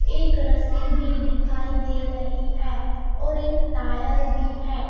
एक रस्सी भी दिखाई दे रही है और एक टायर भी है.